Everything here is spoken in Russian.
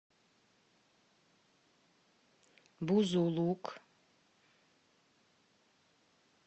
бузулук